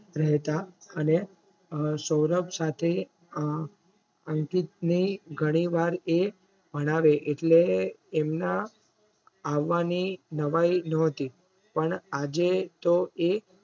રહેતા અને સૌરભ સાથે અંકિતને ઘણીવાર એ ભણાવે એટલે એમના આવવાની નવાઈ નોહતી પણ આજે તો એ